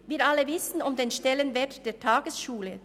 Wir alle wissen um den Stellenwert der Tagesschule.